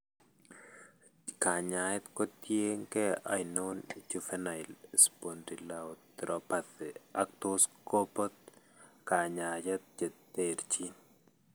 Kanyaayet kotien keey ainon juvenile spondyloarthropathy ak tos kobot kanyaayet cheterchin.